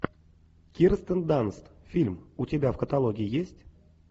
кирстен данст фильм у тебя в каталоге есть